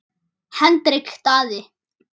Hendrik Daði.